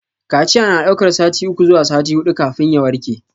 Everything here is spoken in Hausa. Kaciya na daukar sati uku zuwa sati hudu kafin ya warke.